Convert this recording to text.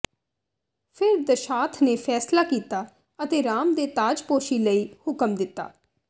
ਫਿਰ ਦਸ਼ਾਥ ਨੇ ਫ਼ੈਸਲਾ ਕੀਤਾ ਅਤੇ ਰਾਮ ਦੇ ਤਾਜਪੋਸ਼ੀ ਲਈ ਹੁਕਮ ਦਿੱਤਾ